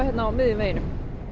á miðjum vegi